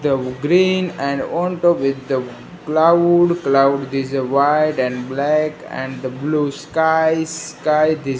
the green and on top with the cloud cloud this is a white and black and the blue sky sky this --